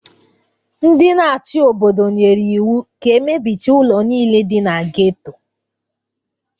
Ndị na-achị obodo nyere iwu ka e mebichaa ụlọ niile dị na geto